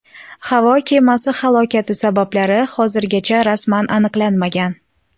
Havo kemasi halokati sabablari hozirgacha rasman aniqlanmagan.